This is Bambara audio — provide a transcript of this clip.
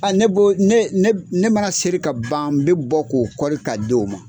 Ne mana seri ka ban n bɛ bɔ k'o ka di o ma